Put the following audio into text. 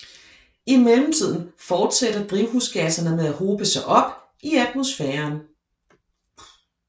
I mellemtiden fortsætter drivhusgasserne med at hobe sig op i atmosfæren